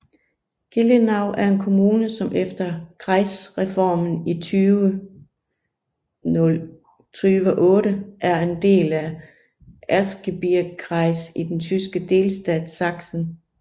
Gelenau er en kommune som efter Kreisreformen i 2008 er en del af Erzgebirgskreis i den tyske delstat Sachsen